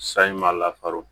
Sayi makaro